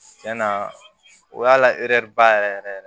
Cɛn na o y'a la ɛri ba yɛrɛ yɛrɛ